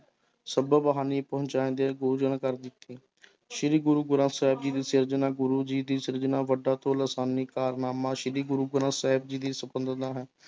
ਕਰ ਦਿੱਤੀ ਸ੍ਰੀ ਗੁਰੂ ਗ੍ਰੰਥ ਸਾਹਿਬ ਜੀ ਦੀ ਸਿਰਜਣਾ ਗੁਰੂ ਜੀ ਦੀ ਸਿਰਜਣਾ ਵੱਡਾ ਤੇ ਲਸਾਨੀ ਕਾਰਨਾਮਾ ਸ੍ਰੀ ਗੁਰੂ ਗ੍ਰੰਥ ਸਾਹਿਬ ਜੀ ਦੀ ਸੰਪਾਦਨਾ ਹੈ